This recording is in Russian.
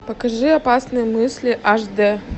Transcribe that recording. покажи опасные мысли аш дэ